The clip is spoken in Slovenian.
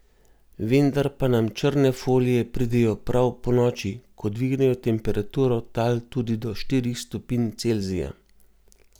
Vendar pa nam črne folije pridejo prav ponoči, ko dvignejo temperaturo tal tudi do štirih stopinj Celzija.